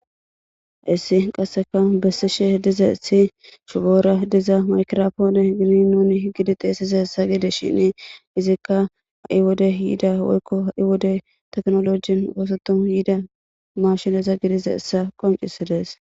Issi qasseka bessishe hediza issi shubora diza makirfoone gini nuni higidi xeesiza hessa gide shine izikka ha7i wode yiida woykko ha7i wode teknolojin ufosoton yiida mashineza gidiza essa qoncisidees.